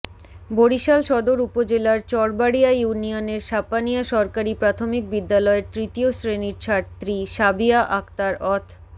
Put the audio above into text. বরিশাল সদর উপজেলার চরবাড়িয়া ইউনিয়নের সাপানিয়া সরকারি প্রাথমিক বিদ্যালয়ের তৃতীয় শ্রেণির ছাত্রী সাবিয়া আক্তার অথ